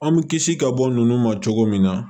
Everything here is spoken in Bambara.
An mi kisi ka bɔ nunnu ma cogo min na